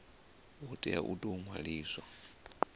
hu tea u tou ṅwaliwa